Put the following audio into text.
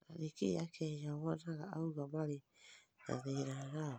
Na nĩ kĩĩ akenya monaga auganda marĩ na thĩna nao